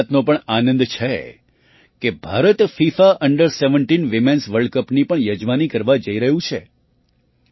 મને એ વાતનો પણ આનંદ છે કે Bharat FIFA under ૧૭ women's world કપની પણ યજમાની કરવા જઈ રહ્યું છે